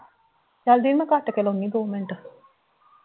ਚੱਲ ਦੀਦੀ ਮੈ ਕੱਟ ਕੇ ਲਾਉਣੀ ਹਾਂ ਦੋ ਮਿੰਟ